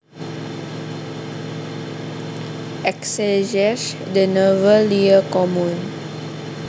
Exégèse des nouveaux lieux communs